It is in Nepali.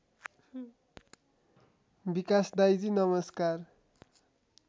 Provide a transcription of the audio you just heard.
विकास दाइजी नमस्कार